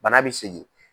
Bana bɛ segin